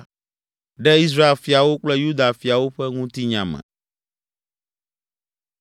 ɖe Israel fiawo kple Yuda fiawo ƒe Ŋutinya me.